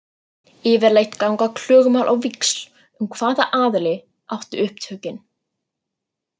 Yfirleitt ganga klögumál á víxl um hvaða aðili átti upptökin.